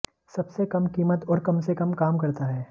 सबसे कम कीमत और कम से कम काम करता है